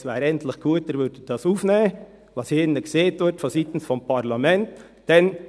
Es wäre eigentlich gut, Sie würden aufnehmen, was hier drinnen seitens des Parlaments gesagt wird.